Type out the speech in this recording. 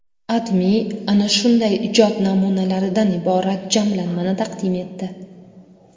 AdMe ana shunday ijod namunalaridan iborat jamlanmani taqdim etdi .